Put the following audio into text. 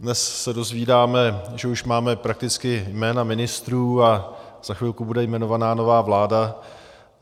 Dnes se dozvídáme, že už máme prakticky jména ministrů a za chvilku bude jmenovaná nová vláda.